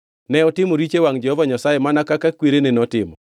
Ne otimo richo e wangʼ Jehova Nyasaye mana kaka kwerene notimo.